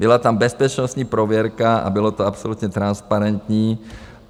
Byla tam bezpečnostní prověrka a bylo to absolutně transparentní.